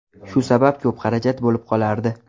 Shu sabab ko‘p xarajat bo‘lib qolardi.